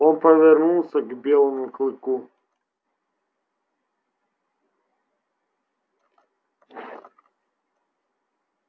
он повернулся к белому клыку